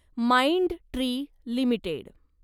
Mindtree limited